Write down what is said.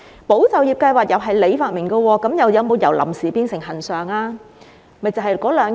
"保就業"計劃也是局長發明的，但有否由"臨時"變成"恆常"呢？